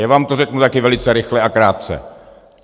Já vám to řeknu také velice rychle a krátce.